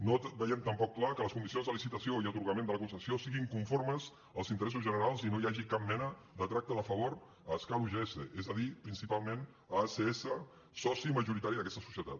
no veiem tampoc clar que les condicions de li·citació i atorgament de la concessió siguin conformes als interessos generals i no hi hagi cap mena de tracte de favor a escal ugs és a dir principalment a acs soci majoritari d’aquesta societat